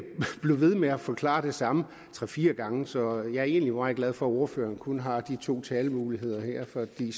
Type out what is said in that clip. blive ved med at forklare det samme tre fire gange så jeg er egentlig meget glad for at ordføreren kun har de to talemuligheder her fordi